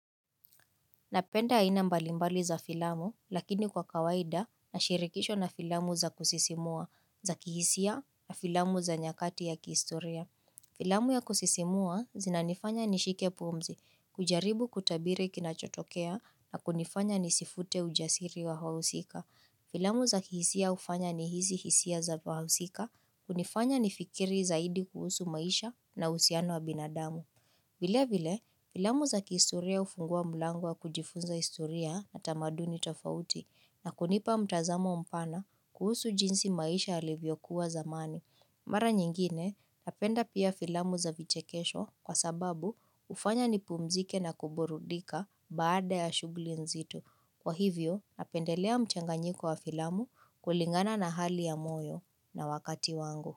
Napenda aina mbalimbali za filamu, lakini kwa kawaida na shirikishwa na filamu za kusisimua, za kihisia na filamu za nyakati ya kihistoria. Filamu ya kusisimua zinanifanya nishike pumzi, kujaribu kutabiri kinachotokea na kunifanya nisifute ujasiri wa wahusika. Filamu za kihisia hufanya nihisi hisia za wahusika, kunifanya nifikiri zaidi kuhusu maisha na husiano wa binadamu. Vile vile, filamu za kihistoria hufungua mlango wa kujifunza historia na tamaduni tofauti na kunipa mtazamo mpana kuhusu jinsi maisha yalivyokuwa zamani. Mara nyingine, napenda pia filamu za vichekesho kwa sababu hufanya nipumzike na kuburudika baada ya shughuli nzito. Kwa hivyo, napendelea mchanganyiko wa filamu kulingana na hali ya moyo na wakati wangu.